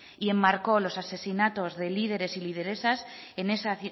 y enmarcó los asesinatos de líderes y lideresas en esa